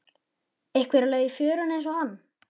Einhver á leið í fjöruna einsog hann.